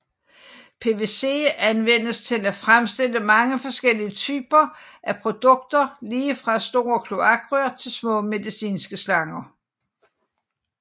PVC anvendes til at fremstille mange forskellige typer af produkter lige fra store kloakrør til små medicinske slanger